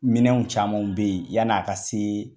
Minɛnw camanw bɛ yen yani a ka se